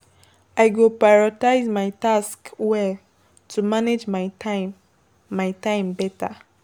I go prioritize my tasks well to manage my time my time better.